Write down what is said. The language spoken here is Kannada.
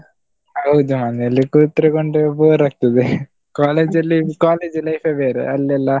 ಹೌದು ಮನೆಯಲ್ಲಿ ಕೂತುಕೊಂಡು bore ಆಗ್ತದೆ college ಅಲ್ಲಿ college life ಬೇರೆ ಅಲ್ಲೆಲ್ಲಾ.